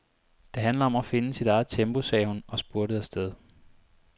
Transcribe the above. Det handler om at finde sit eget tempo, sagde hun og spurtede afsted.